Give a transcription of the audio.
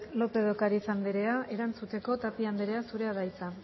lópez de ocariz andrea erantzuteko tapia andrea zurea da hitza